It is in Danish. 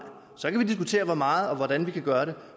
så kan vi diskutere hvor meget og hvordan vi gør det